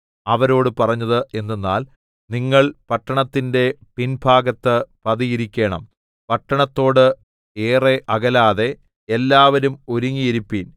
അവരോട് പറഞ്ഞത് എന്തെന്നാൽ നിങ്ങൾ പട്ടണത്തിന്റെ പിൻഭാഗത്ത് പതിയിരിക്കേണം പട്ടണത്തോട് ഏറെ അകലാതെ എല്ലാവരും ഒരുങ്ങിയിരിപ്പീൻ